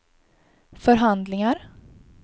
förhandlingar